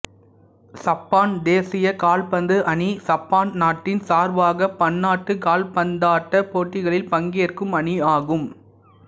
சப்பான் தேசிய கால்பந்து அணி சப்பான் நாட்டின் சார்பாக பன்னாட்டுக் கால்பந்தாட்டப் போட்டிகளில் பங்கேற்கும் அணியாகும்